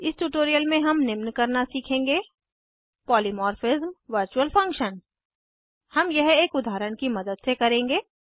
इस ट्यूटोरियल में हम निम्न करना सीखेंगे पॉलीमॉर्फिज्म वर्चुअल फंक्शन हम यह एक उदाहरण की मदद से करेंगे